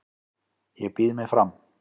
Ég býð mig fram